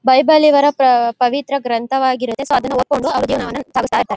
Bible ಇವರ ಪ್ರ ಪವಿತ್ರ ಗ್ರಂಥವಾಗಿರತ್ತೆ. ಸೊ ಅದನ್ನ ಓದ್ಕೊಂಡು .]